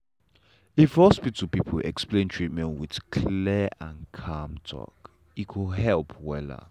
if hospital people explain treatment with clear and calm talk e go help wella.